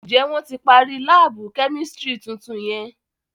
Njẹ wọn ti parí laabu kẹ́místrì tuntun yẹn?